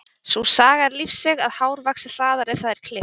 Sú saga er lífseig að hár vaxi hraðar ef það er klippt.